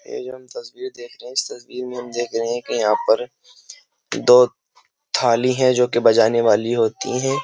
ये हम तस्वीर देख रहे हैं इस तस्वीर में हम देख रहे हैं कि यहां पर दो थाली है जो कि बजाने वाली होती हैं।